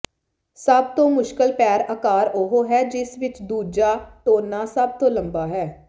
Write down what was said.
ਸਭ ਤੋਂ ਮੁਸ਼ਕਲ ਪੈਰ ਅਕਾਰ ਉਹ ਹੈ ਜਿਸ ਵਿਚ ਦੂਜਾ ਟੋਨਾ ਸਭ ਤੋਂ ਲੰਬਾ ਹੈ